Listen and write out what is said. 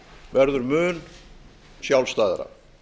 verður mun sjálfstæðara